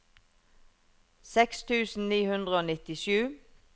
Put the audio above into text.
seks tusen ni hundre og nittisju